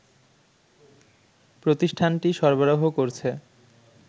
প্রতিষ্ঠানটি সরবরাহ করছে